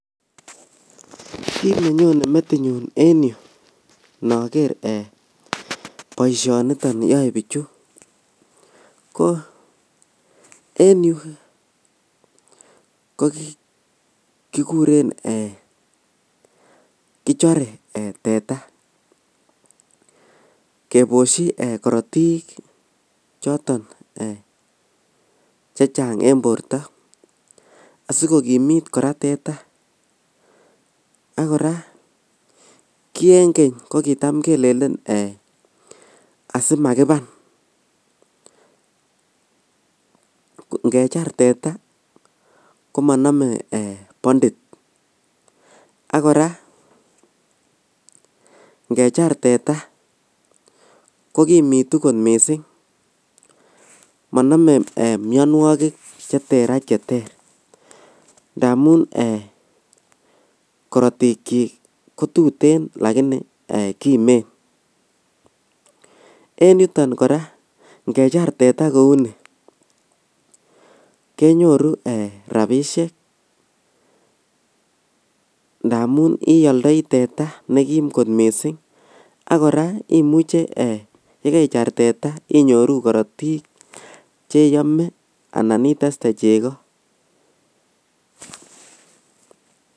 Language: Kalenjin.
Kinenyone metinyu en yu inoker ee boishoniton yoe bichu ko en yu kokikurm kichoree ee teta keboshi korotik choton ee chechang en borto asikokimut koraa teta ak koraa kiengen kokitam kelelen eeh asimakiban ngechor teta komonome ee bondit ak koraa ingechar teta kokimitu kot missing' monome mionuokik cheterter aj cheterter ndamun eeh kotuten l lakini kimen, en yuton koraa ingechar teta kouni lenyoru rabishek ndamun ioldoi teta nekim kot missing' ak koraa imuche ee ibejar teta inyoru korotik cheyome anan itestee cheko.